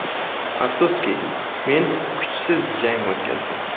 Afsuski, men kuchsiz jang o‘tkazdim.